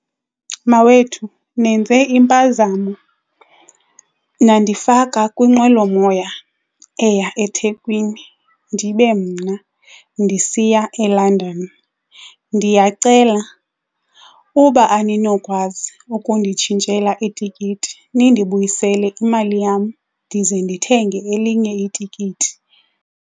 Mawethu nenze impazamo nandifaka kwinqwelomoya eya eThekwini ndibe mna ndisiya eLondon. Ndiyacela uba aninokwazi ukunditshintshela itikiti nindibuyisele imali yam ndize ndithenge elinye itikiti.